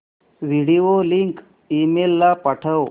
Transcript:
video link email ला पाठव